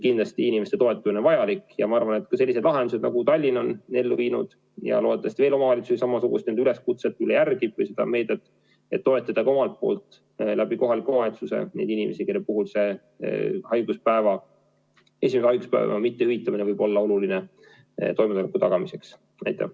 Kindlasti inimeste toetamine on vajalik ja ma loodan, et selliseid lahendusi, nagu Tallinn on ellu viinud, järgib veel omavalitsusi, et järgitakse seda üleskutset või seda meedet, et toetada ka kohaliku omavalitsuse kaudu neid inimesi, kelle puhul esimese haiguspäeva mittehüvitamine võib olla oluline toime tulemisel.